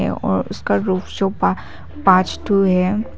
ये और उसका पांच ठो है।